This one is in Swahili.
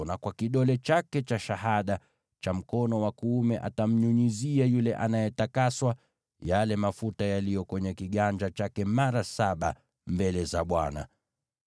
na kwa kidole chake cha shahada cha mkono wa kuume, atamnyunyizia yule anayetakaswa yale mafuta yaliyo kwenye kiganja chake mara saba mbele za Bwana .